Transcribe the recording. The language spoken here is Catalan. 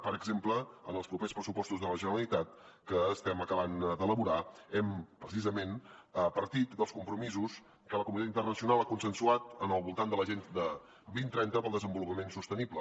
per exemple en els propers pressupostos de la generalitat que estem acabant d’elaborar hem precisament partit dels compromisos que la comunitat internacional ha consensuat al voltant de l’agenda dos mil trenta per al desenvolupament sostenible